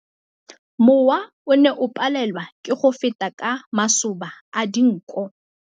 Mowa o ne o palelwa ke go feta ka masoba a dinko.